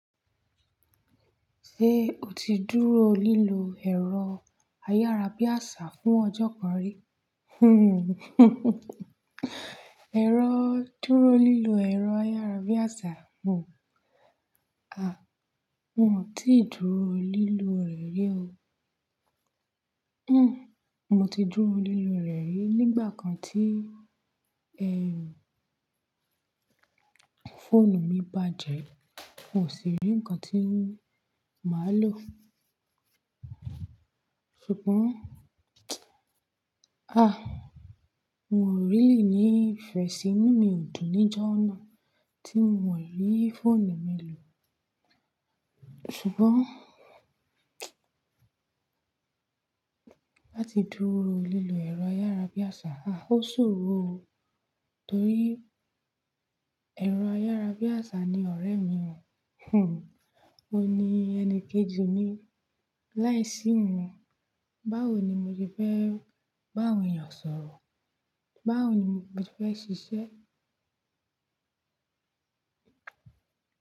Ṣé o ti dúró lílọ ẹ̀rọ ayárabíàṣá fún ọjọ́ kan rí? Ẹ̀rọ dúró lílọ ẹ̀rọ ayárabíàṣá, n o, a, n o ti dúró lílọ rẹ̀ rí o. Hmm, mo ti dúró lílọ rẹ̀ rí nígbà kan tí, ẹ, fóònù mi bàjẹ́, n kò sì rí nǹkan tí máa lò. Ṣùgbọ́n, a, n ò really ní ìfẹ́ sí inú mi ò dùn níjọ́ náà tí n ò rí fóònù mi lò. Ṣùgbọ́n, láti dúró lílọ ẹ̀rọ ayárabíàṣá, a ó ṣòro o. Torí ẹ̀rọ ayárabíàṣá ni ọ̀rẹ́ mi o. Ó ní ẹni kejì mi. Láìsí wọn, báwo ni mo ti fẹ́ bá àwọn èèyàn sọ̀rọ̀? Báwo ni mo ti fẹ́ ṣiṣẹ́?